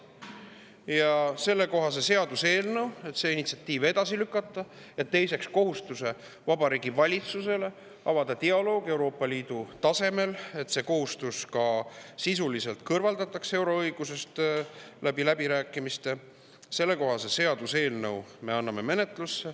Me anname menetlusse sellekohase seaduseelnõu, et see initsiatiiv edasi lükata ja kohustada Vabariigi Valitsust avama dialoogi Euroopa Liidu tasemel, et see kohustus ka sisuliselt läbirääkimiste teel kõrvaldataks euroõigusest.